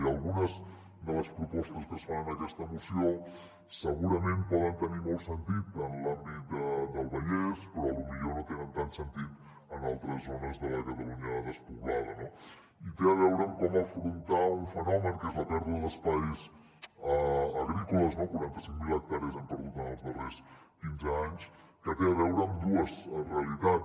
i algunes de les propostes que es fan en aquesta moció segurament poden tenir molt sentit en l’àmbit del vallès però potser no tenen tant de sentit en altres zones de la catalunya despoblada no i té a veure com afrontar un fenomen que és la pèrdua d’espais agrícoles no quaranta cinc mil hectàrees hem perdut en els darrers quinze anys que té a veure amb dues realitats